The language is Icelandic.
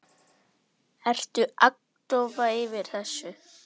Ertu agndofa yfir þessu?